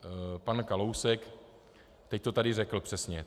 Pan Kalousek to teď tady řekl přesně.